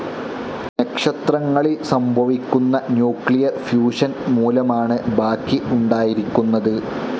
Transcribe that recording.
നക്ഷത്രങ്ങളിൽ സംഭവിക്കുന്ന nuclear fusion മൂലമാണ് ബാക്കി ഉണ്ടായിരിക്കുന്നത്.